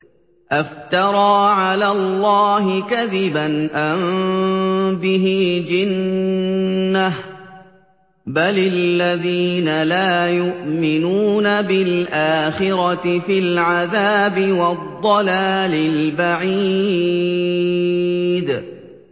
أَفْتَرَىٰ عَلَى اللَّهِ كَذِبًا أَم بِهِ جِنَّةٌ ۗ بَلِ الَّذِينَ لَا يُؤْمِنُونَ بِالْآخِرَةِ فِي الْعَذَابِ وَالضَّلَالِ الْبَعِيدِ